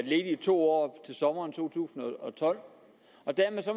i to år i sommeren to tusind og tolv dermed